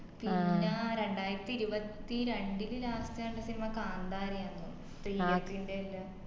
പിന്ന രണ്ടായിരത്തിഇരുപത്തിരണ്ടില് last കണ്ട സിനിമ കാന്താര യാന്ന് തോന്ന് തെയ്യത്തിന്റെയെല്ലാം